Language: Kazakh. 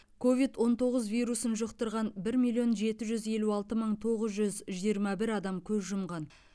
ковид он тоғыз вирусын жұқтырған бір миллион жеті жүз елу алты мың тоғыз жүз жиырма бір адам көз жұмған